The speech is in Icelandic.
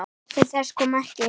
Til þess kom ekki.